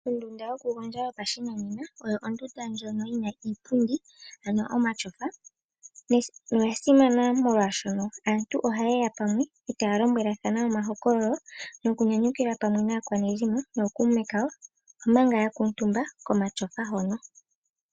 Ondunda yokugondja yopashinanena oyo ondunda ndjono yina iipundi ano omatyofa. Oyasimana molwaashono aantu ohaye ya pamwe etaya lombwelathana omahokololo nokunyanyukilwa pamwe naakwanezimo nookuume kawo omanga yakuutumba komatyofa hono.